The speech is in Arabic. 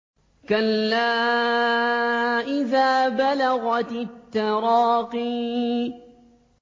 كَلَّا إِذَا بَلَغَتِ التَّرَاقِيَ